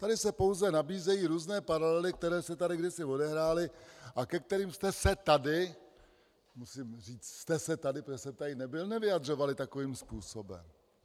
Tady se pouze nabízejí různé paralely, které se tady kdysi odehrály a ke kterým jste se tady - musím říct jste se tedy, protože jsem tady nebyl - nevyjadřovali takovým způsobem.